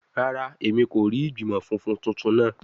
Rara, Emi ko rii igbimọ funfun tuntun naa